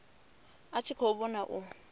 a tshi khou vhona u